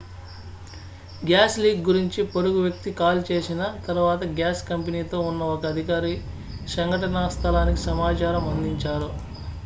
gas leak గురించి పొరుగువ్యక్తి call చేసిన తరువాత గ్యాస్ కంపెనీ తో ఉన్న ఒక అధికారి సంఘటనా స్థలానికి సమాచారం అందించారు